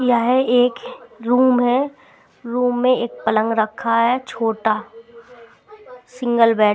यह एक रूम है रूम में एक पलंग रखा है छोटा सिंगल बेड ।